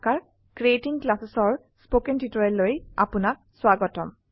creating Classesঅৰ spoken টিউটোৰিয়েললৈ আপনাক স্বাগতম